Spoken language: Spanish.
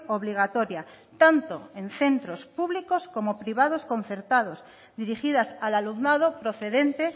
obligatoria tanto en centros públicos como en privado concertados dirigidas al alumnado procedente